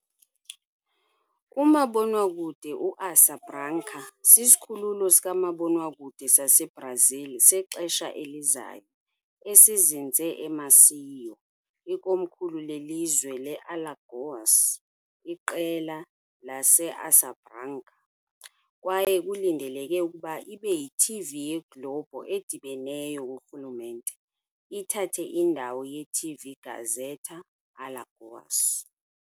Umabonwakude uAsa Branca sisikhululo sikamabonwakude saseBrazil sexesha elizayo esizinze eMaceió, ikomkhulu lelizwe laseAlagoas. IkwiQela le-Asa Branca, kwaye kulindeleke ukuba ibe yi-TV ye-Globo edibeneyo kurhulumente, ithathe indawo ye-TV Gazeta de Alagoas.